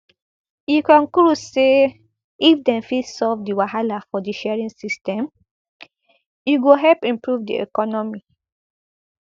e conclude say if dem fit solve di wahala for di sharing system e go help improve di economy